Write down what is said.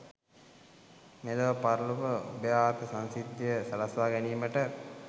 මෙලොව පරලොව උභයාර්ථ සංසිද්ධිය සලස්වා ගැනීමට